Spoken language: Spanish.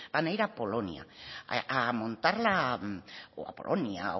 van a ir a polonia a montar la o a polonia